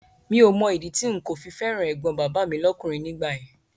Mi ò Mọ ìdí tí n kò fi fẹ́ràn ẹ̀gbọ́n bàbá mi lọ́kùnrin nígbà yẹn